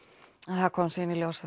en það kom síðan í ljós að